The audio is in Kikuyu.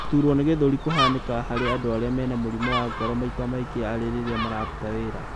Gũturwo nĩ gĩthũri kũhanĩkaga harĩ andũ arĩa mena mũrimũ wa ngoro, maita maingi arĩ rĩrĩa mararuta wĩra